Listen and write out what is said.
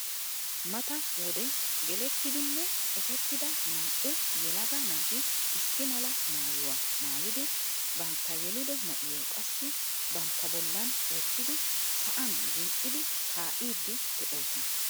Mata wode gelettidinne ekettida naa"u yelagaa naati issi mala maayuwaa maayidi bantta yeelido na'iyoo qassi bantta bollaan wottidi sa'aan zini"idi kaa'iidi de'oosona.